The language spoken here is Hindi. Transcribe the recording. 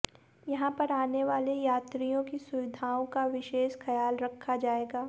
यहां पर आने वाले यात्रियों की सुविधाओं का विशेष ख्याल रखा जाएगा